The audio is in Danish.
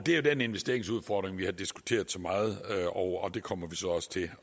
er den investeringsudfordring vi har diskuteret så meget og det kommer vi så også til